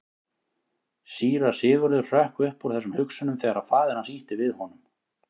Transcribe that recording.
Síra Sigurður hrökk upp úr þessum hugsunum þegar að faðir hans ýtti við honum.